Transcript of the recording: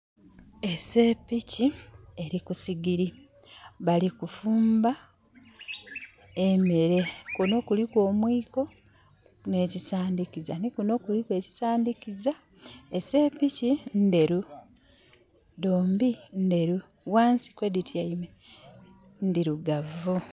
Eseepiki eri ku sigiri. Balikufumba emere. Kuno kuliku omwiko ne kisandikiza. Nikuno kuliku ekisandikiza. Eseepiki nderu. Dombi nderu. Wansi kwedityaime ndirugavu